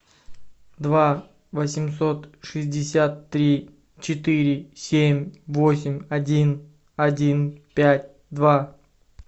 два восемьсот шестьдесят три четыре семь восемь один один пять два